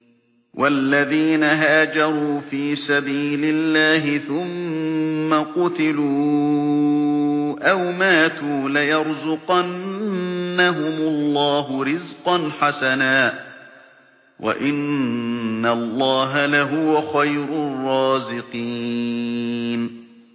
وَالَّذِينَ هَاجَرُوا فِي سَبِيلِ اللَّهِ ثُمَّ قُتِلُوا أَوْ مَاتُوا لَيَرْزُقَنَّهُمُ اللَّهُ رِزْقًا حَسَنًا ۚ وَإِنَّ اللَّهَ لَهُوَ خَيْرُ الرَّازِقِينَ